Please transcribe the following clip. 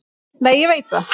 Nei, ég veit það.